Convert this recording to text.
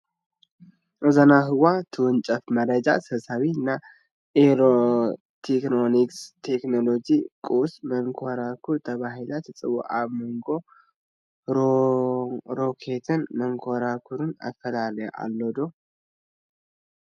እዛ ናብ ህዋ ትውንጨፍ መረጃ ሰብሳቢት ናይ ኤለክትሮኒክ ቴክኖሎጂ ቁስ መንኮራኩር ተባሂላ ትፅዋዕ፡፡ ኣብ መንጐ ሮኬትን መንኮራኩርን ኣፈላላይ ኣሎ ድዩ?